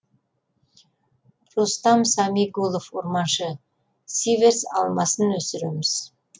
рустам самигулов орманшы сиверс алмасын өсіреміз